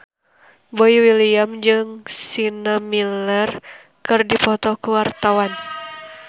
Boy William jeung Sienna Miller keur dipoto ku wartawan